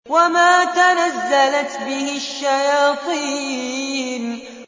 وَمَا تَنَزَّلَتْ بِهِ الشَّيَاطِينُ